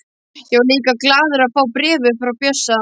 Ég var líka glaður að fá bréfið frá Bjössa.